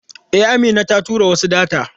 E, Amina ta tura wasu data.